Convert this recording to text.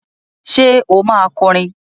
Ṣe o ma kọrin?